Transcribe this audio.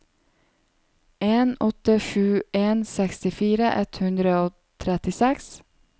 en åtte sju en sekstifire ett hundre og trettiseks